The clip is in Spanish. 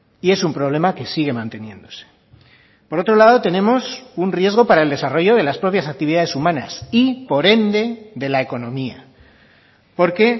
y es un problema que sigue manteniéndose por otro lado tenemos un riesgo para el desarrollo de las propias actividades humanas y por ende de la economía porque